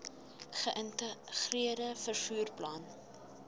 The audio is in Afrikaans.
geïntegreerde vervoer plan